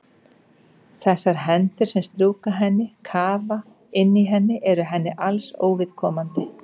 Þessar hendur sem strjúka henni, kafa inn í henni eru henni alls óviðkomandi.